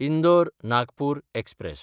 इंदोर–नागपूर express